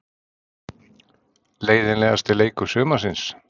Leiðinlegasti leikur sumarsins?